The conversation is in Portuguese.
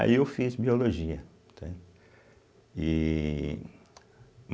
Aí eu fiz Biologia, entende e.